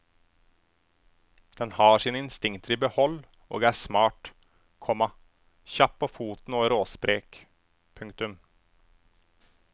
Den har sine instinkter i behold og er smart, komma kjapp på foten og råsprek. punktum